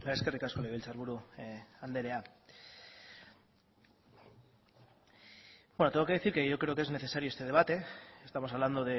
eskerrik asko legebiltzar buru anderea tengo que decir que yo creo que es necesario este debate estamos hablando